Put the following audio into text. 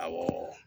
Awɔ